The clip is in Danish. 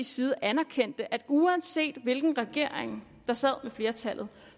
side anerkendte at uanset hvilken regering der sad med flertallet